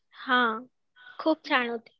हां खूप छान होती